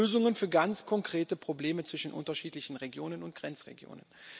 Sie schaffen Lösungen für ganz konkrete Probleme zwischen unterschiedlichen Regionen und Grenzregionen.